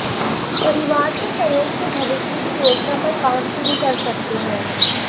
परिवार के सहयोग से भविष्य की योजना पर काम शुरू कर सकते हैं